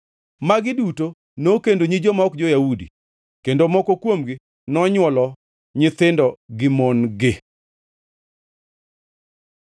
Magi duto nokendo nyi joma ok jo-Yahudi, kendo moko kuomgi nonywolo nyithindo gi mon-gi.